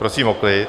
Prosím o klid...